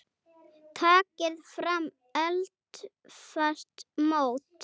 Takið fram eldfast mót.